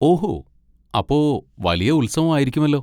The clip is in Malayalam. ഓഹോ, അപ്പൊ വലിയ ഉത്സവം ആയിരിക്കുമല്ലോ.